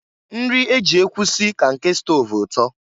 Nri e ji ekwu si ka nke stọv ụtọ.